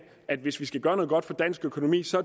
at vi hvis vi skal gøre noget godt for dansk økonomi så